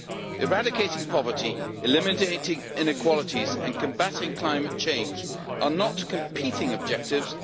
Eradicating poverty, eliminating inequalities and combating climate change are not competing objectives